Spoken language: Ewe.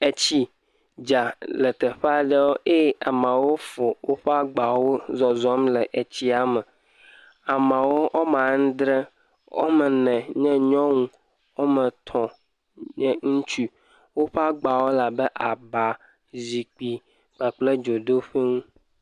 Etsi dza le teƒe aɖewo ye ameawo fɔ woƒe agbawo zɔzɔ̃m le tsia me. Ameawo wɔme adre. Womɔ ene nye nyɔnu. Wɔme etɔ̃ nye ŋutsu. Woƒe agbawo le abe aba, zikpui kpakple dzodoƒui nuwo.